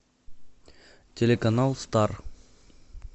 телеканал стар